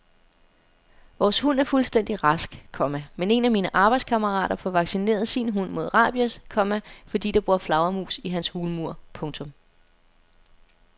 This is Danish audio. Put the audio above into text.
Vores hund er fuldstændig rask, komma men en af mine arbejdskammerater får vaccineret sin hund mod rabies, komma fordi der bor flagermus i hans hulmur. punktum